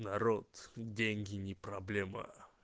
народ деньги не проблема